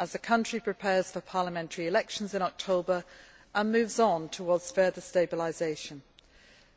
As the country prepares for parliamentary elections in October and moves on towards further stabilisation,